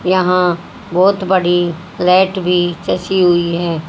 यहां बहोत बड़ी फ्लैट भी चची हुई है।